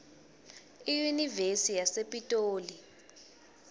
iyunivesi yasepitoli